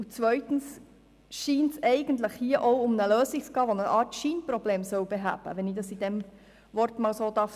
Zweitens scheint es hier auch um eine Lösung zu gehen, die eine Art Scheinproblem beheben soll, wenn ich dies so nennen darf.